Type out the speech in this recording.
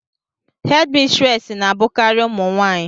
hédmistrés na-abụkarị ụmụ nwanyị